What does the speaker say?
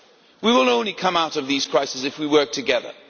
We will only come out of these crises if we work together.